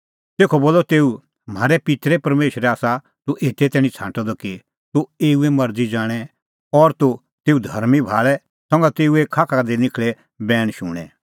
तेखअ बोलअ तेऊ म्हारै पित्तरे परमेशरै आसा तूह एते तैणीं छ़ांटअ द कि तूह एऊए मरज़ी ज़ाणें और तूह तेऊ धर्मीं भाल़े संघा तेऊए खाखा का निखल़ै दै बैण शुणें